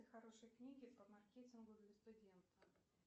хорошие книги по маркетингу для студента